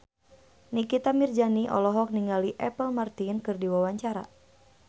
Nikita Mirzani olohok ningali Apple Martin keur diwawancara